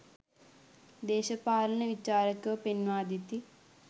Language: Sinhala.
දේශපාලන විචාරකයෝ පෙන්වා දෙති